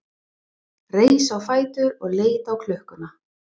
Reis á fætur og leit á klukkuna.